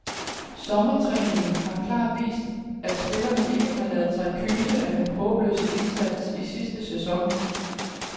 Sommertræningen har helt klart vist, at spillerne ikke har ladet sig kyse af den håbløse indsats i sidste sæson.